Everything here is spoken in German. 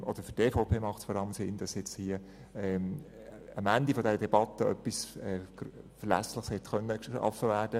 Für die EVP macht es Sinn, dass am Ende dieser Debatte etwas Verlässliches geschaffen wird.